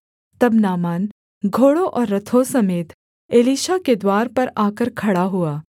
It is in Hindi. तब नामान घोड़ों और रथों समेत एलीशा के द्वार पर आकर खड़ा हुआ